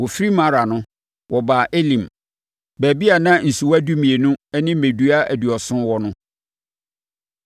Wɔfirii Mara no, wɔbaa Elim; baabi a na nsuwa dumienu ne mmɛdua aduɔson wɔ hɔ.